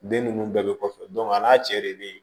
Den ninnu bɛɛ bɛ kɔfɛ a n'a cɛ de bɛ yen